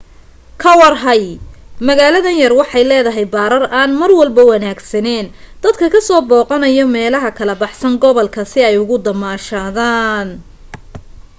ka warhay magaalada yar waxay leedahay barar aan marwalba wanaagsaneen dadka ka soo boqanayo meelaha ka baxsan gobolka si ay ugu soo damashadan